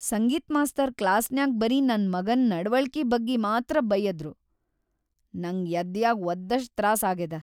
ಸಂಗೀತ್‌ master ಕ್ಲಾಸ್ನ್ಯಾಗ್ ಬರೀ ನನ್‌ ಮಗನ್‌ ನಡವಳಕಿ ಬಗ್ಗೆ ಮಾತ್ರ ಬಯ್ಯದ್ರು‌, ನಂಗ್ ಯದ್ಯಾಗ್ ವದ್ದಷ್ಟ್‌ ತ್ರಾಸ್ ಆಗೇದ.